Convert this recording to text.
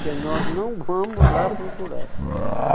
que nós não vamos lá procurar.